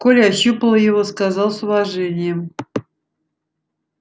коля ощупал его сказал с уважением